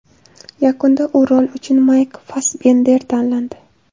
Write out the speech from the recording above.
Yakunda bu rol uchun Maykl Fassbender tanlandi.